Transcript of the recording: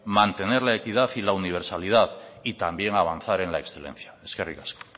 mantener la equidad y la universalidad y también avanzar en la excelencia eskerrik asko